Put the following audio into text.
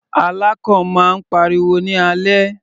Alákàn máa ń pariwo ní alẹ́.